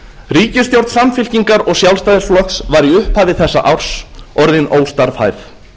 ríkisstjórn samfylkingar og sjálfstæðisflokks var í upphafi þess árs orðin óstarfhæf